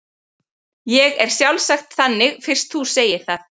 Ég er sjálfsagt þannig fyrst þú segir það.